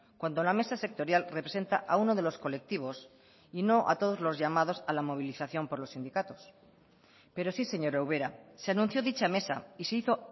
cuando la mesa sectorial representa a uno de los colectivos y no a todos los llamados a la movilización por los sindicatos pero sí señora ubera se anunció dicha mesa y se hizo